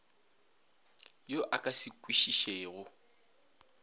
yo a ka se kwešišego